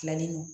Filanin don